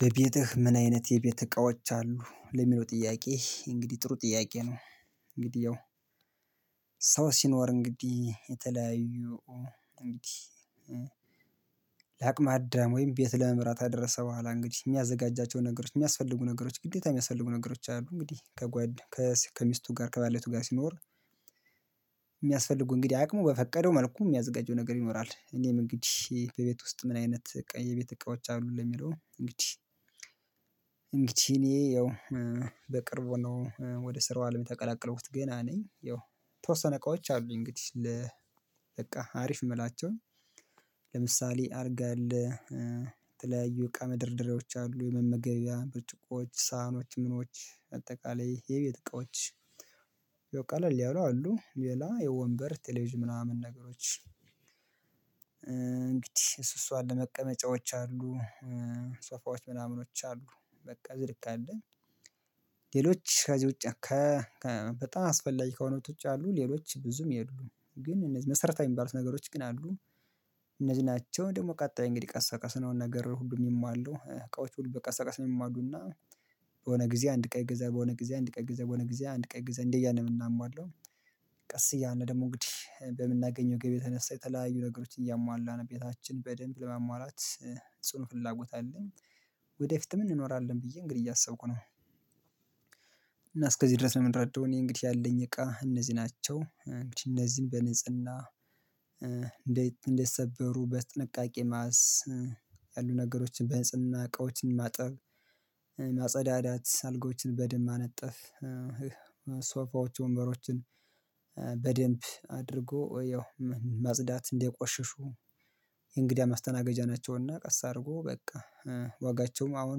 በቤትህ ምን አይነት የቤት እቃዎች አሉ ለሚለው ጥያቄ እንግዲህ ጥሩ ጥያቄ ነው። እንግዲህ ያው ሰው ሲኖር እንግዲህ የተለያዩ እንግዲህ ለአቅመ አዳም ወይም ቤት ለመምራት ከደረሰ በኋላ እንግዲህ የሚያዘጋጃቸው ነገሮች የሚያስፈልጉ ነገሮች ግዴታ የሚያስፈልጉ ነገሮች አሉ እንግዲህ ከጓድ ከሚስቱ ጋር ከባለቤቱ ጋር ሲኖር የሚያስፈልጉ እንግዲህ አቅሙ በፈቀደው መልኩ የሚያዝጋጀው ነገር ይኖራል። እኔም እንግዲህ በቤት ውስጥ ምን አይነት የቤት እቃዎች አሉ ለሚለው እንግዲህ እንግዲህ እኔ ያው በቅርቡ ነው ወደ ስራው አለም የተቀላቀለሁት ገና ነኝ ያው ተወሰነ እቃዎች አሉኝ። እንግዲህ ለ በቃ አሪፍ የምላቸውኝ አልጋ አለ የተለያዩ እቃ መደርደርያዎች አሉ የመመገቢያ ብርጭቆዎች ሳሀኖች ምኖች አጠቃላይ የቤት እቃዎች። ያወ ቀልል ያሉ አሉ ሌላ የወንበር ቴሌቪዥን ምናምን ነገሮች እንግዲህ እሱ እሷን ለመቀመጫዎች አሉ። ሶፋዎች ምናምኖች አሉ በቃ ዝርቅ አለኝ። ሌሎች ከዚህ ውጪ ከ በጣም አስፈላጊ ከሆኑት ውጪ አሉ ሌሎች ብዙም የሉም። ግን እነዚህ መሰረታዊ የሚባሉት ነገሮች ግን አሉ እነዚህ ናቸው ደግሞ ቀጣይ እንግዲህ ቀሰቀስ በቀስ ነው ነገር ሁሉ የሚሟሉ እቃዎች ሁሉ በቀስ በቀስ ነው። የሚሟሉና በሆነ ጊዜ አንድ እቃ ይገገዛል በሆነ ጊዜ አንድ እቃ ገዛ በሆነ ጊዜ አንድ እቃ ይገዛል እንዴ እያለ እምናማለው። ቀስ እያለ ደግሞ እንግዲህ በምናገኘው ገቢ የተነሳ የተለያዩ ነገሮች እያሟላን ነው ቤታችን በደንብ ለማሟላት ጽኑ ፍላጎት አለኝ። ወደፊትም እንኖራለን ብዬ እንግዲህ እያሰብኩ ነው። እና እስከዚህ ድረስ እምረዳው እኔ እንግዲህ ያለኝ እቃ እነዚህ ናቸው። እንግዲህ እነዚህን በነጽህና እንደ እንዳያሰበሩ በጥንቃቄ ማስ ያሉ ነገሮችን በህጽናዠና እቃዎችን ማጠብ ማጸዳዳት አልጋዎችን በደንብ ማነጠፍ ሶፋዎቹ ወንበሮችን በደንብ አድርጎ ያው ማጽዳት እንዳይቆሽሹ። የእንግዲህ ማስተናገጃ ናቸውና ቀስ አድርጎ በቃ ዋጋቸውም አሁን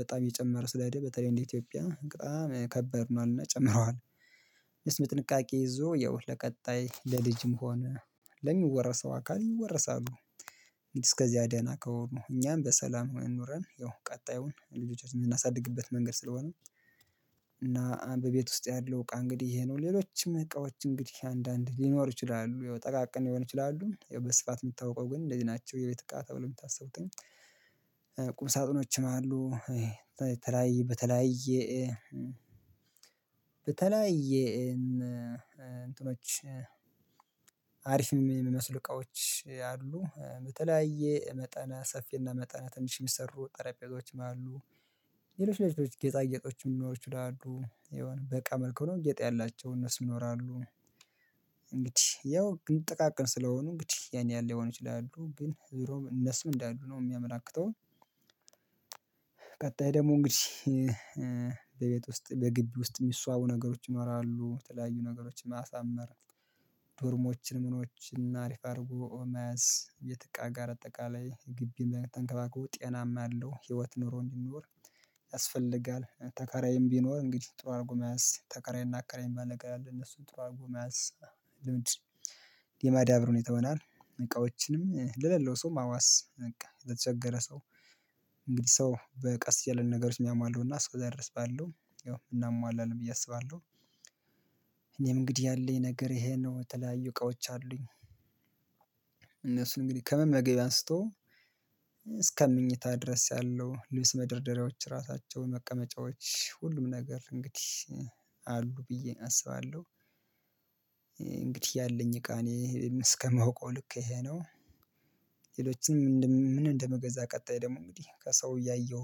በጣም እየጨመረ ስለሄደ በተለይ እንደ ኢትዮጵያ በጣም ከባድ ሆኗልና ጨምረዋል የስም ጥንቃቄ ይዞ ያው ለቀጣይ ለልጅም ሆነ ለሚወረሰው አካል ይወረሳሉ። እስከዚያ ደና ከሆኑ እኛም በሰላም ኑረን ያው ቀጣዩን ልጆች የምናሳድግበት መንገድ ስለሆነ። እና በቤት ውስጥ ያለው እቃ እንግዲህ ይሄ ነው ሌሎችም እቃዎች እንግዲህ አንዳንድ ሊኖር ይችላሉ ጠቃቅን ሊሆን ይችላሉ ያበስፋት የምታውቀው ግን እንደዚህ ናቸው። የቤት እቃ ተብሎ የምታስቡትን ቁም ሳጥኖችም አሉ በተለያየ በተለያየ በተለያየ የእንትኖች አሪፍ የሚመስሉ እቃዎች አሉ በተለያየ መጠን ሰፊና መጠነ ትንሽ የሚሰሩ ጠረጴዛዎችም አሉ። ሌሎች ሌሎች ጌጣጌጦችም ሊኖሩ ይችላሉ የሆነ በቃ መልኩ ሆነው ጌጥ ያላቸው እነሱ ይኖራሉ። እንግዲህ ያው ጥቃቅን ስለሆኑ እንግዲህ ያን ላይሆኑ ይችላሉ ግን ዞሮ እነሱም እንዳሉ ነው የሚያመላክተው። ደግሞ እንግዲህ በቤት ውስጥ በግቢ ውስጥ የሚስዋቡ ነገሮች ይኖራሉ የተለያዩ ነገሮችን ማሳመር ዶርሞችን ምኖችን አሪፍ አድርጎ መያዝ ቤት እቃ ጋር አጠቃላይ ግቢን ተንከባከቦ ጤናማ ያለው ህይወት ኑሮ እንዲኖር ያስፈልጋል። ተካራይም ቢኖር እንግዲህ ጥሩ አድርጎ መያዝ ተከራይና አከራይም የሚባል ነገረ አለ እነሱን ጥሩ አድርጎ መያዝ ልምድ የማዳብር ሁኔታ ይሆናል። እቃዎችንም ለሌለው ሰው ማዋስ በቃ ለተቸገረ ሰው እንግዲህ ሰው ቀስ እያለ ነገሮች የሚያሟለው እና እስከዛ ድረስ ባለው እናሟላለን ብዬ አስባለሁ። እኔም እንግዲህ ያለኝ ነገር ይሄ ነው የተለያዩ እቃዎች አሉኝ። እነሱን እንግዲህ ከመመገቢያ አንስቶ እስከ ምኝታ ድረስ ያለው ልብስ መደርደሪያዎች ራሳቸው መቀመጫዎች ሁሉም ነገር እንግዲህ አሉ ብዬ አስባለሁ። እንግዲህ ያለኝ እቃ እኔ እስከማውቀው ልክ ይሄ ነው። ሌሎችንም ምንም እንደመገዛ ቀጣይ ደግሞ እንግዲህ ከሰው እያየሁ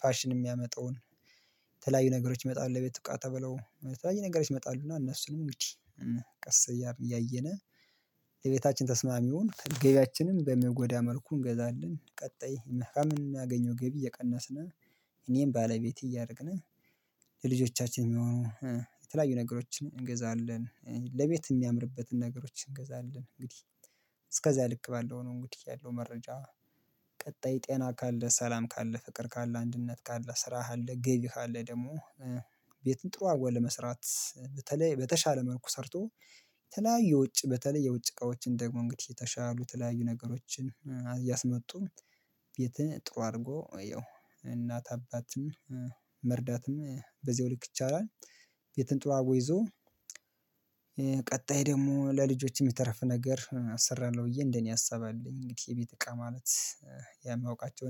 ፋሽን የሚያመጣውን ተለያዩ ነገሮች ይመጣሉ ለቤት እቃ ተብለው የተለያዩ ነገሮች ይመጣሉና እነሱንም ብቻ ቀስ እያልን እያየነ የቤታችን ተስማሚውን ገበያችንን በማይጎዳ መልኩ እንገዛለን። ቀጣይ መሃል የምናገኘው ገቢ እየቀነስን እኔንም ባለቤት እያደረግን ለልጆቻችን የሚሆኑ የተለያዩ ነገሮችን እንገዛለን። ለቤት የሚያምርበትን ነገሮች እንገዛለን እንግዲህ እስከዚያ ልክ ባለው ነው። እንግዲህ ያለው መረጃ ቀጣይ ጤና ካለ ሰላም ካለ ፍቅር ካለ አንድነት ካለ ስራ አለ ገቢህ ካለ ደግሞ ቤትን ጥሩ አርጎ ለመስራት በተለይ በተሻለ መልኩ ሰርቶ የተለያዩ ውጭ በተለይ የውጭ እቃዎችን ደግሞ እንግዲህ የተሻሉ ተለያዩ ነገሮችን እያስመጡ ቤትን ጥሩ አድርጎ ያው እናት አባትም መርዳትም በዚሁ ልክ ይቻላል። ቤትን ጥሩ አርጎ ይዞ ቀጣይ ደግሞ ለልጆችም የተረፈ ነገር አሰራለሁ ብዬ እንደኔ አሰባለሁ እንግዲህ የቤት እቃ ማለት። የማውቃቸው